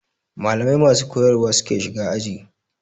Malamai masu koyar wa su suke shiga aji.